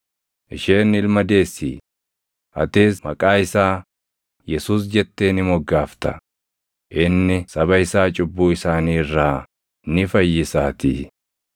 Isheen ilma deessi; atis maqaa isaa Yesuus jettee ni moggaafta; inni saba isaa cubbuu isaanii irraa ni fayyisaatii.”